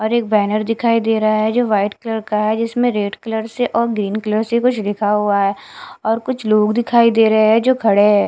और एक बैनर दिखाई दे रहा है जो व्हाइट कलर का है जिसमें रेड कलर से और ग्रीन कलर से कुछ लिखा हुआ है और कुछ लोग दिखाई दे रहा है जो खड़े हैं।